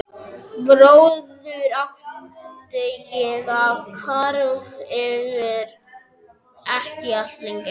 Bróður átti ég er hvarf fyrir ekki allt löngu.